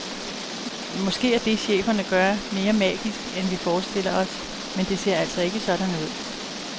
Måske er det, cheferne gør, mere magisk end vi forestiller os, men det ser altså ikke sådan ud.